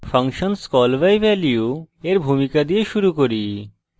function call by value এর ভূমিকা দিয়ে শুরু করি